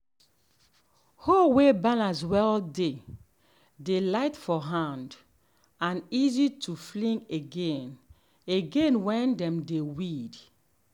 hoe way balance well dey dey light for hand um and easy to fling again again when um dem dey weed.